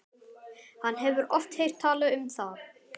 Hann hefur oft heyrt talað um það.